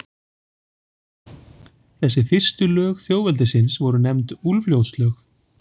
Þessi fyrstu lög þjóðveldisins voru nefnd Úlfljótslög.